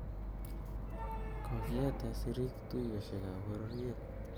Kokieten siriik tuyosieka bororiet